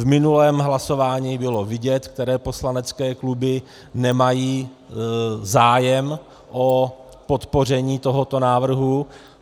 V minulém hlasování bylo vidět, které poslanecké kluby nemají zájem o podpoření tohoto návrhu.